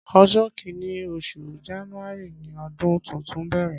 Ọjọ kìní óṣú jànúàrí ni ọdùn tútún n bẹrẹ